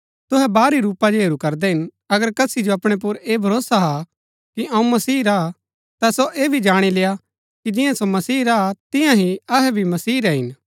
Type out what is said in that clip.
तुहै बाहरी रूपा जो हेरू करदै हिन अगर कसी जो अपणै पुर ऐह भरोसा हा कि अऊँ मसीह रा हा ता सो ऐह भी जाणी लेय्आ कि जियां सो मसीह रा हा तियां ही अहै भी मसीह रै हिन